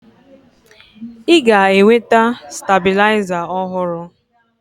Ị ga-enweta stabilizer ọhụrụ.